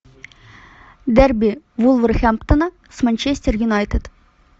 дерби вулверхэмптона с манчестер юнайтед